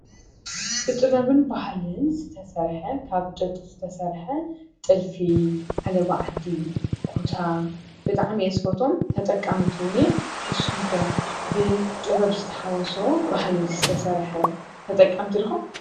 ብጥበብን ባህልን ዝተሰርሐ ካብ ጡጥ ዝተሰርሐ ጥልፊ፣ ዓለባ ዓዲ፣ ኩታ ብጣዕሚ እየ ዝፈትዎም ተጠቃሚት እውን እየ፡፡ ንስኩም ከ ብጥበብ ዝተሓወሶ ባህሊ ዝተሰርሐ ተጠቀምቲ ዲኩም?